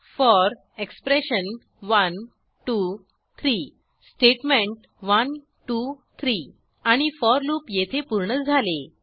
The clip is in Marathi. फोर एक्सप्रेशन 1 2 3 स्टेटमेंट 1 2 3 आणि फोर लूप येथे पूर्ण झाले